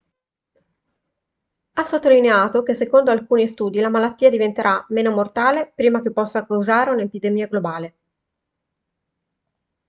ha sottolineato che secondo alcuni studi la malattia diventerà meno mortale prima che possa causare un'epidemia globale